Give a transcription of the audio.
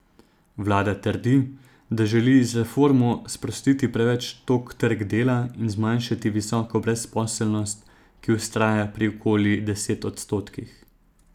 Vlada trdi, da želi z reformo sprostiti preveč tog trg dela in zmanjšati visoko brezposelnost, ki vztraja pri okoli desetih odstotkih.